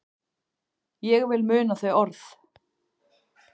Ég vil muna þau orð.